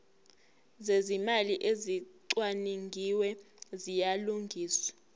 zezimali ezicwaningiwe ziyalungiswa